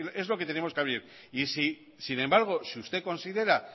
es lo que tenemos que abrir sin embargo si usted considera